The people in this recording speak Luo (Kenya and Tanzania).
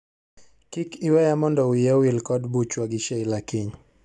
Kik iweya mondo wiya owil kod buchwa gi Sheila kiny.